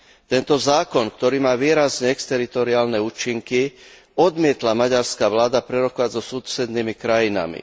Tento zákon, ktorý má výrazne exteritoriálne účinky, odmietla maďarská vláda prerokovať so susednými krajinami.